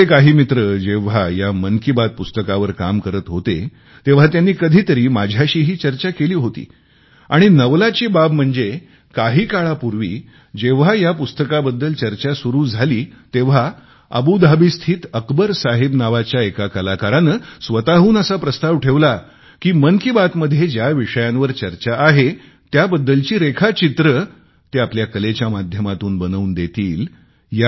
आमचे काही मित्र जेव्हा या मन की बात पुस्तकावर काम करत होते तेव्हा त्यांनी कधीतरी माझ्याशीही चर्चा केली होती आणि नवलाची बाब म्हणजे काही काळापूर्वी जेव्हा या पुस्तकाबद्दल चर्चा सुरू झाली तेव्हा अबुधाबीस्थित अकबर साहेब नावाच्या एका कलाकाराने स्वतहून असा प्रस्ताव ठेवला की मन की बात मध्ये ज्या विषयांवर चर्चा आहे त्याबद्दलची रेखाचित्रे ते आपल्या कलेच्या माध्यमातून बनवून देतील